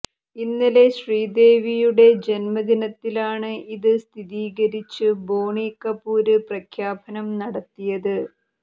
ഇന്നലെ ശ്രീദേവിയുടെ ജന്മദിനത്തിലാണ് ഇത് സ്ഥീരീകരിച്ച് ബോണി കപൂര് പ്രഖ്യാപനം നടത്തിയത്